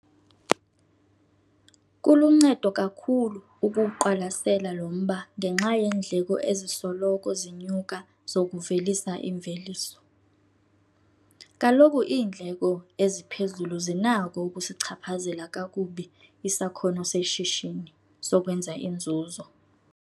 Kuluncedo kakhulu ukuwuqwalasela lo mba ngenxa yeendleko ezisoloko zinyuka zokuvelisa imveliso. Kaloku iindleko eziphezulu zinakho ukusichaphazela kakubi isakhono seshishini sokwenza inzuzo.